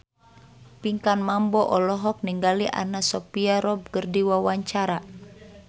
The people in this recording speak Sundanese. Pinkan Mambo olohok ningali Anna Sophia Robb keur diwawancara